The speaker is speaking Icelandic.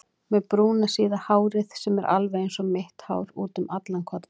Með brúna síða hárið sem er alveg einsog mitt hár útum allan kodda.